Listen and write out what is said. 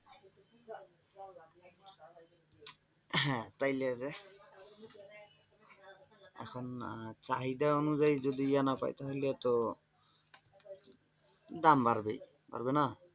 হ্যাঁ তাইলে যে এখন চাহিদা অনুযায়ী যদি এ না পাই তাহলে তো দাম বাড়বেই, বাড়বে না?